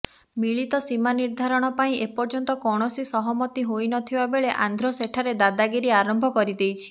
ମିଳିତ ସୀମା ନିର୍ଦ୍ଧାରଣ ପାଇଁ ଏପର୍ଯ୍ୟନ୍ତ କୌଣସି ସହମତି ହୋଇନଥିବା ବେଳେ ଆନ୍ଧ୍ର ସେଠାରେ ଦାଦାଗିରି ଆରମ୍ଭ କରିଦେଇଛି